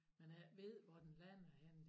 Man ikke ved hvor den lander henne